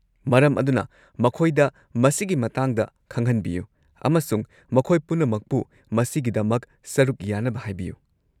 ꯃꯔꯝ ꯑꯗꯨꯅ, ꯃꯈꯣꯏꯗ ꯃꯁꯤꯒꯤ ꯃꯇꯥꯡꯗ ꯈꯪꯍꯟꯕꯤꯌꯨ ꯑꯃꯁꯨꯡ ꯃꯈꯣꯏ ꯄꯨꯝꯅꯃꯛꯄꯨ ꯃꯁꯤꯒꯤꯗꯃꯛ ꯁꯔꯨꯛ ꯌꯥꯅꯕ ꯍꯥꯏꯕꯤꯌꯨ꯫